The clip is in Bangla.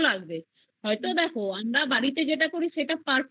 লাগবে আমরা বাড়িতে করি সেটা perfect restaurent